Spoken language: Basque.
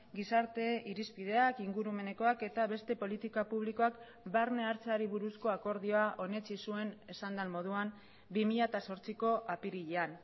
gizarte irizpideak ingurumenekoak eta beste politika publikoak barne hartzeari buruzko akordioa onetsi zuen esan den moduan bi mila zortziko apirilean